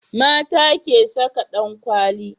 mata ke Saka dankwali